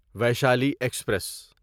Vaishali express